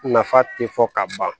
Nafa tɛ fɔ ka ban